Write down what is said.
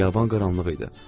Xiyaban qaranlıq idi.